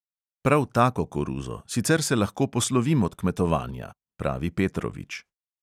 "Prav tako koruzo, sicer se lahko poslovim od kmetovanja," pravi petrovič.